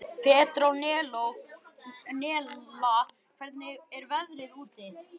Petronella, hvernig er veðrið úti?